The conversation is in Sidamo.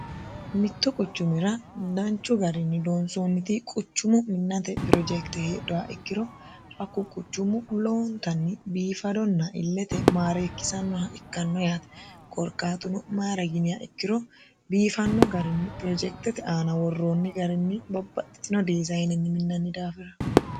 mittu quchumira danchu garinni loonsoonniti quchumu minnate pirojekte heedhuha ikkiro hakku quchumu loowontanni biifadonna illete maareekkisannoha ikkanno yaate korkaatuno mayira yiniha ikkiro biifanno garinni pirojektete aana worroonni garinni babbaxxitino dizayinenni minnanni daafira.